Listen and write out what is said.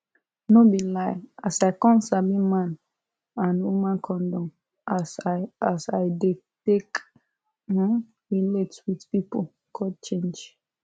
no be lie as i come sabi man and woman condom as i as i dey take um relate with pipu come change